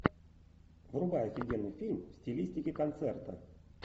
врубай офигенный фильм в стилистике концерта